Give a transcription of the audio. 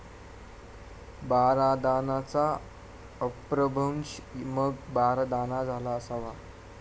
बारादानाचा अपभ्रंश मग बारदाना झाला असावा.